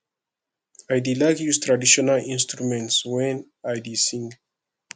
i dey like use traditional instruments wen i dey sing